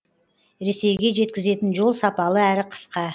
ресейге жеткізетін жол сапалы әрі қысқа